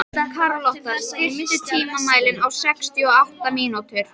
Karlotta, stilltu tímamælinn á sextíu og átta mínútur.